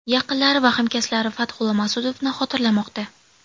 Yaqinlari va hamkasblari Fathulla Mas’udovni xotirlamoqda.